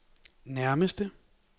nærmeste